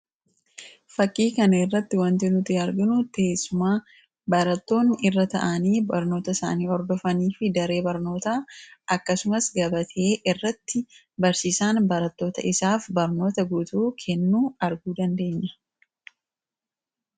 Fakkii kana irratti want inuti arginu teessuma barattoonni irra ta'anii barnoota isaanii hordofanii fi daree barnoota akkasumas gabatee irratti barsiisaan barattoota isaaf barnoota guutuu kennuu arguu dandeenya.